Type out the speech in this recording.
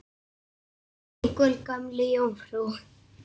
Kann einhver Gömlu jómfrú?